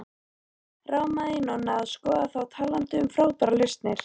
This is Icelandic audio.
Rámaði í Nonna að skoða þá talandi um frábærar lausnir.